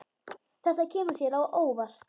Þetta kemur þér á óvart.